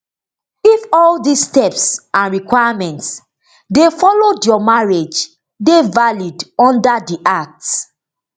if all dis steps and requirements dey followed your marriage dey valid under di act